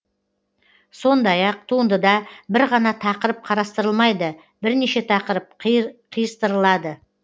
сондай ақ туындыда бір ғана тақырып қарастырылмайды бірнеше тақырып қиыстырылады